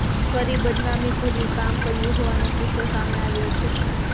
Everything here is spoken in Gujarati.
કરી બદનામી ભર્યું કામ કર્યું હોવાનો કિસ્સો સામે આવ્યો છે